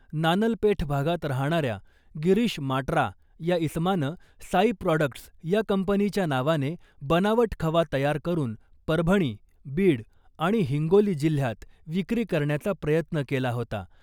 नानलपेठ भागात राहणाऱ्या गिरीष माटरा या इसमानं साई प्रॉडक्ट्स या कंपनीच्या नावाने बनावट खवा तयार करुन परभणी , बीड आणि हिंगोली जिल्ह्यात विक्री करण्याचा प्रयत्न केला होता .